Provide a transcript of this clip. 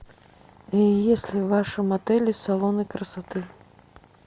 есть ли в вашем отеле салоны красоты